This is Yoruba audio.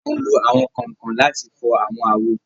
A n lo awọn kánkan láti fò awọn awo